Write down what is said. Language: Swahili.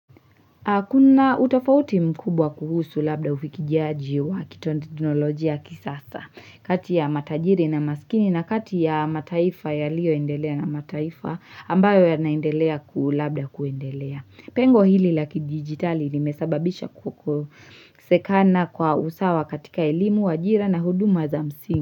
Kuna utofauti mkubwa kuhusu labda ufikishaji wa kiteknoloji ya kisasa, kati ya matajiri na masikini na kati ya mataifa yaliyo endelea na mataifa ambayo ya naendelea ku labda kuendelea. Pengo hili la kidigitali limesababisha kukosekana kwa usawa katika elimu, ajira na huduma za msingi.